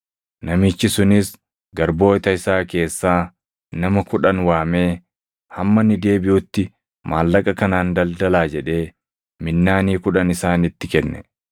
Namichi sunis garboota isaa keessaa nama kudhan waamee, ‘Hamma ani deebiʼutti maallaqa kanaan daldalaa’ jedhee minnaanii kudhan isaanitti kenne.